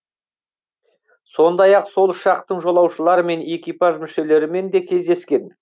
сондай ақ сол ұшақтың жолаушылары мен экипаж мүшелерімен де кездескен